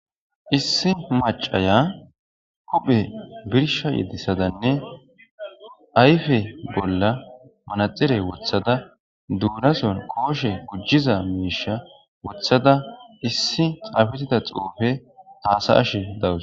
Issi macaya kuphe birsha yedissadanne ayfe bolla manaxire wothada duurason kooshe gujjiza miisha wothada issi xaafetida xuufe haasa ash dawus